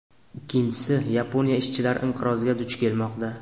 Ikkinchisi, Yaponiya ishchilar inqiroziga duch kelmoqda.